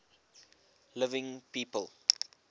living people